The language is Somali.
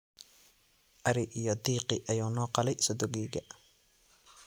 Ari iyo diiqii ayuu noo qalay sodogeyga